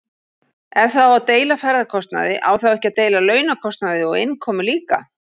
Ef það á að deila ferðakostnaði á þá ekki að deila launakostnaði og innkomu líka?